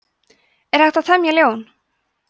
er hægt að temja ljón